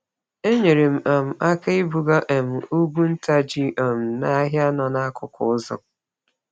Enyere m um aka ibuga um ugwu nta ji um n'ahịa nọ n'akụkụ ụzọ.